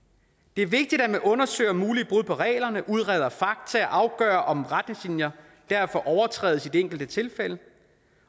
det er vigtigt at man undersøger mulige brud på reglerne udreder fakta og afgør om retningslinjer derfor overtrædes i det enkelte tilfælde